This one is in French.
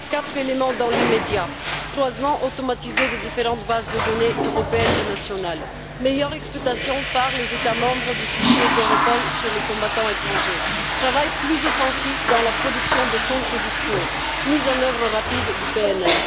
Quatre éléments à retenir dans l'immédiat croisement automatisé des différentes bases de données européennes et nationales, meilleure exploitation par les États membres du fichier d'Europol sur les combattants étrangers, travail plus offensif dans la production de contre discours et mise en œuvre rapide du PNR.